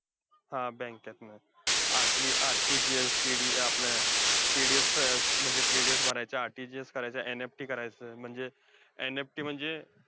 हा bank त. हम्म आणि RT, GSTD अं आपलं TDS अं म्हणजे TDS भरायचा, RTGS करायचं, NFT करायचं, म्हणजे NFT म्हणजे,